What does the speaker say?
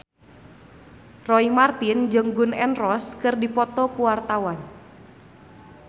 Roy Marten jeung Gun N Roses keur dipoto ku wartawan